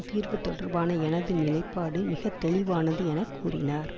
தீர்வு தொடர்பான எனது நிலைப்பாடு மிகத்தெளிவானது என கூறினார்